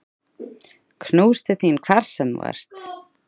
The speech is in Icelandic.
Knús til þín hvar sem þú ert.